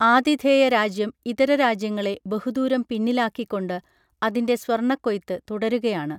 ആതിഥേയ രാജ്യം ഇതര രാജ്യങ്ങളെ ബഹുദൂരം പിന്നിലാക്കികൊണ്ട് അതിന്റെ സ്വർണക്കൊയ്ത്ത് തുടരുകയാണ്